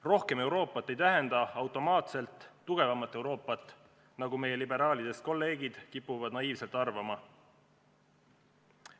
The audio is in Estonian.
Rohkem Euroopat ei tähenda automaatselt tugevamat Euroopat, nagu meie liberaalidest kolleegid kipuvad naiivselt arvama.